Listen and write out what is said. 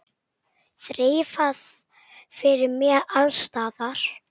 Þreifað fyrir mér alls staðar.